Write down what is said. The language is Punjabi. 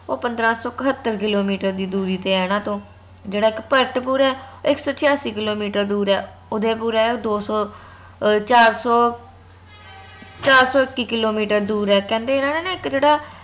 ਓ ਪੰਦਰਾਂ ਸੋ ਇਕਹੱਤਰ ਕਿਲੋਮੀਟਰ ਦੀ ਦੂਰੀ ਤੇ ਏਨਾ ਤੋਂ ਜੇਹੜਾ ਇਕ ਭਰਤਪੁਰ ਆ ਓ ਇਕ ਸੋ ਛਯਾਸਿ ਕਿੱਲੋਮੀਟਰ ਦੂਰ ਆ ਉਦੈਪੁਰ ਆ ਓ ਦੋ ਸੋ ਚਾਰ ਸੋ ਚਾਰ ਸੋ ਇੱਕੀ ਕਿੱਲੋਮੀਟਰ ਦੂਰ ਆ ਕਹਿੰਦੇ ਏਨਾ ਨੇ ਨਾ ਇਕ ਜੇਹੜਾ